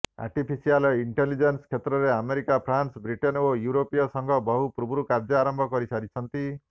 artificial intelligence କ୍ଷେତ୍ରରେ America France Britain ଓ ୟୁରୋପୀୟ ସଂଘ ବହୁ ପୂର୍ବରୁ କାର୍ଯ୍ୟ ଆରମ୍ଭ କରିସାରିଛନ୍ତି